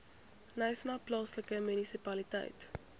knysna plaaslike munisipaliteit